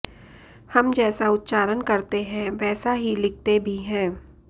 हम जैसा उच्चारण करते हैं वैसा ही लिखते भी हैं